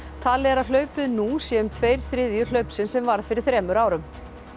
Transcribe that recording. talið er að hlaupið nú sé um tveir þriðju hlaupsins sem varð fyrir þremur árum